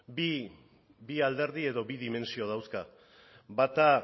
bi alderdi edo bi dimentsio dauzka bata